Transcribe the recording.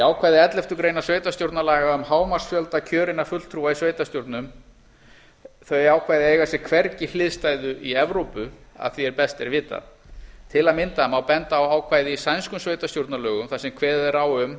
ákvæði elleftu grein sveitarstjórnarlaga um hámarksfjölda kjörinna fulltrúa í sveitarstjórnum eiga sér hvergi hliðstæðu í evrópu að því er best er vitað til að mynda má benda á ákvæði í sænskum sveitarstjórnarlögum þar sem kveðið er á um